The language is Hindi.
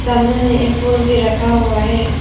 सामने में एक फूल भी रखा हुआ है।